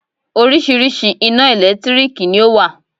Oríṣiríṣi ina ẹ̀lẹ́tírìkì ni ọ wá.